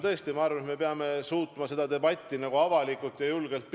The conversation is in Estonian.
Samas arvan, et me peame suutma pidada seda debatti avalikult ja julgelt.